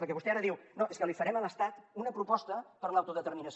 perquè vostè ara diu no és que li farem a l’estat una proposta per a l’autodeterminació